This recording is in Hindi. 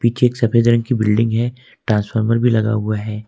सफेद रंग की बिल्डिंग है ट्रांसफार्मर भी लगा हुआ है।